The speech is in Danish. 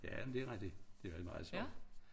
Ja men det rigtig det meget sjovt